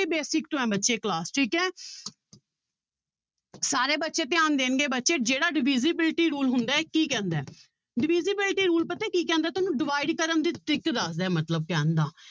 Basic ਤੋਂ ਬੱਚੇ class ਠੀਕ ਹੈ ਸਾਰੇ ਬੱਚੇ ਧਿਆਨ ਦੇਣਗੇ ਬੱਚੇ ਜਿਹੜਾ divisibility rule ਹੁੰਦਾ ਹੈ ਕੀ ਕਹਿੰਦਾ ਹੈ divisibility rule ਪਤਾ ਕੀ ਕਹਿੰਦਾ ਤੁਹਾਨੂੰ divide ਕਰਨ ਦੀ trick ਦੱਸਦਾ ਮਤਲਬ ਕਹਿਣ ਦਾ